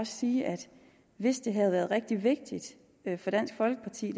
sige at hvis det her været rigtig vigtigt for dansk folkeparti